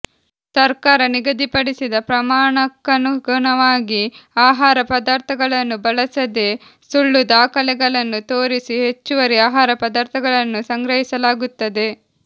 ಸರ್ಕಾರ ನಿಗದಿಪಡಿಸಿದ ಪ್ರಮಾಣಕ್ಕನುಗುಣವಾಗಿ ಆಹಾರ ಪದಾರ್ಥಗಳನ್ನು ಬಳಸದೆ ಸುಳ್ಳು ದಾಖಲೆಗಳನ್ನು ತೋರಿಸಿ ಹೆಚ್ಚುವರಿ ಆಹಾರ ಪದಾರ್ಥಗಳನ್ನು ಸಂಗ್ರಹಿಸಲಾಗುತ್ತದೆ